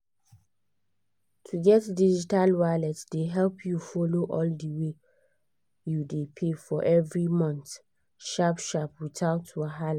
to get digital wallet dey help you follow all the wey you dey pay for every month sharp-sharp without wahala